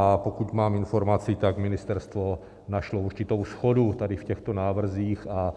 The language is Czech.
A pokud mám informaci, tak ministerstvo našlo určitou shodu tady v těchto návrzích a